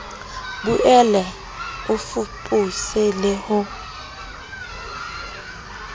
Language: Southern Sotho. boele o fapose le ho